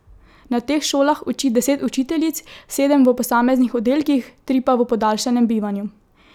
Na teh šolah uči deset učiteljic, sedem v posameznih oddelkih, tri pa v podaljšanem bivanju.